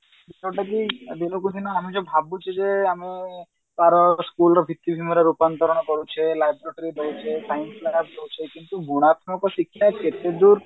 ଯୋଉଟା କି ଦିନକୁ ଦିନ ଆମେ ଯୋଉ ଭାବୁଚେ ଯେ ଆମେ school ର ରୂପନ୍ତରଣ କରୁଛେ ଦଉଛେ କିନ୍ତୁ ଗୁଣାତ୍ମକ ଶିକ୍ଷା କେତେଦୂର